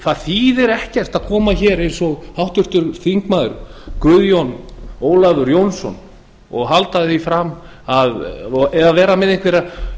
það þýðir ekkert að koma hér eins og háttvirtir þingmenn guðjón ólafur jónsson og vera með einhverjar